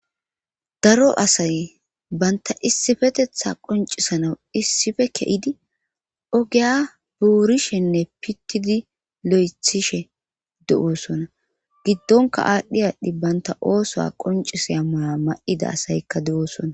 daro asay banta issifetetha qoncisanaw issife ke7idi ogeya buurishenne pittidi lo7ethishe du7oosona giddonka aadhdhi aadhdhi banta ooso qoncisaya mala ma7ida asaykka de7oosona